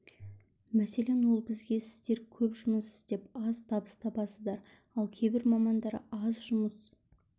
мәселен ол бізге сіздер көп жұмыс істеп аз табыс табасыздар ал кейбір мамандар аз жұмыс